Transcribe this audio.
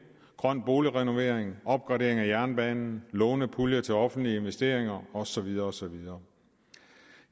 grøn boligrenovering opgradering af jernbanen lånepuljer til offentlige investeringer og så videre og så videre